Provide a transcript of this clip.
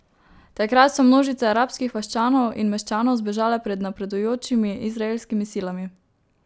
Takrat so množice arabskih vaščanov in meščanov zbežale pred napredujočimi izraelskimi silami.